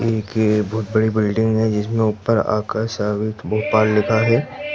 एक बहुत बड़ी बिल्डिंग है जिसमें ऊपर आका साबित भोपाल लिखा है।